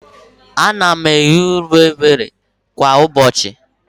Ana m eri unere kwa ụbọchị.